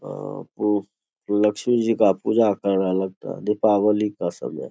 और वो लक्ष्मी जी का पूजा कर रहलक है लगता है दीपावली का समय --